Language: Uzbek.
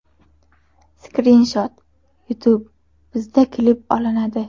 Skrinshot: YouTube Bizda klip olinadi.